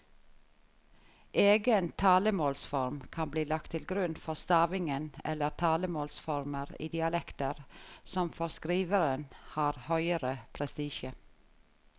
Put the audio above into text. Egen talemålsform kan bli lagt til grunn for stavingen eller talemålsformer i dialekter som for skriveren har høgere prestisje.